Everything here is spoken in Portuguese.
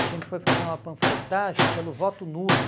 A gente foi fazer uma panfletagem pelo voto nulo.